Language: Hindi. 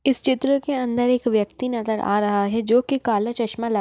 इस चित्र के अंदर एक व्यक्ति नजर आ रहा है जो की काला चश्मा ल--